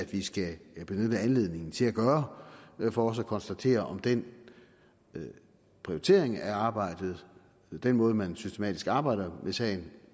vi skal benytte anledningen til at gøre for også at konstatere om den prioritering af arbejdet den måde man systematisk arbejder med sagen